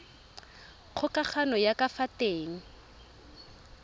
kgokagano ya ka fa teng